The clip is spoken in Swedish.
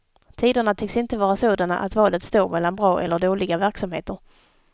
Tiderna tycks inte vara sådana att valet står mellan bra eller dåliga verksamheter.